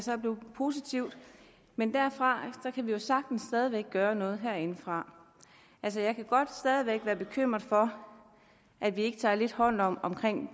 positivt men derfor kan vi jo sagtens stadig væk godt gøre noget herindefra jeg kan godt stadig væk være bekymret for at vi ikke tager lidt mere hånd om